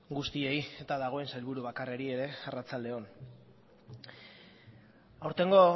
guztiei eta dagoen sailburu bakarrari ere arratsalde on aurtengo